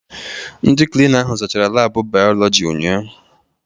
Ndị Klina ahụ zaachara laabụ bayoloji ụnyaahụ.